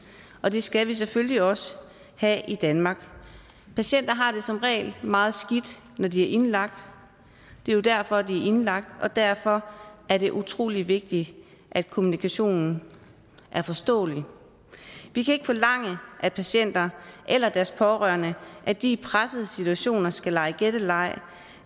og det skal vi selvfølgelig også have i danmark patienter har det som regel meget skidt når de er indlagt det er jo derfor de er indlagt og derfor er det utrolig vigtigt at kommunikationen er forståelig vi kan ikke forlange af patienter eller deres pårørende at de i pressede situationer skal lege gætteleg